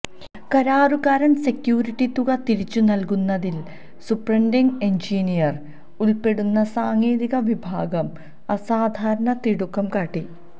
കരാറുകാരന് security തുക തിരിച്ച് നൽകുന്നതിൽ സൂപ്രണ്ടിംഗ് എഞ്ചിനീയർ ഉൾപ്പെടുന്ന സാങ്കേതിക വിഭാഗം അസാധാരണ തിടുക്കം കാട്ടി